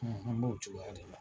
Ɔ an b'o cogoya de la